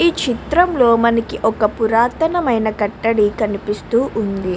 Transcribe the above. ఈ చిత్రంలో మనకు పురాతనమైన కట్టడి కనిపిస్తుంది.